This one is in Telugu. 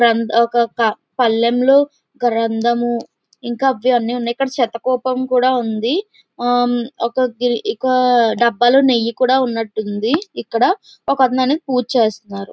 ఒక పళ్ళెంలో గంధము ఇంకా అవన్నీ ఉన్నాయి ఇక్కడ శత కోపం కూడా ఉంది ఇక్కడ ఒక డబ్బాలో నెయ్యి కూడా ఉన్నట్టుంది ఉంది ఇక్కడ ఒక అతను అనేది పూజ చేస్తున్నారు.